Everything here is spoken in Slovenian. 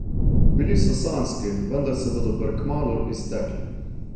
Bili so sanjski, vendar se bodo prekmalu iztekli.